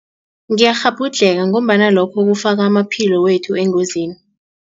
Ngiyakghabhudlheka ngombana lokho kufaka amaphilo wethu engozini.